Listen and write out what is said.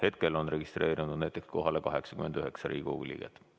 Hetkel on registreerunud kohalolijaks näiteks 89 Riigikogu liiget.